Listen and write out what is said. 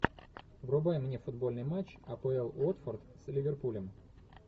врубай мне футбольный матч апл уотфорд с ливерпулем